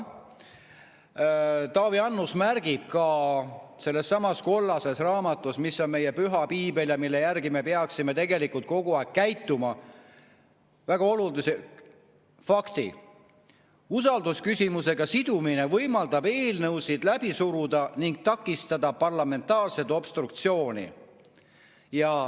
Taavi Annus märgib ka sellessamas kollases raamatus, mis on meie püha piibel ja mille järgi me peaksime tegelikult kogu aeg käituma, väga olulise fakti: usaldusküsimusega sidumine võimaldab eelnõusid läbi suruda ning takistada parlamentaarset obstruktsiooni.